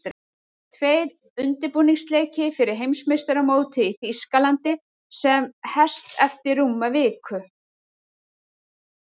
Tveir undirbúningsleikir fyrir Heimsmeistaramótið í Þýskalandi sem hest eftir rúma viku.